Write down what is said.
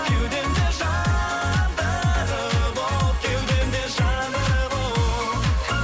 кеудемде жандырып от кеудемде жандырып от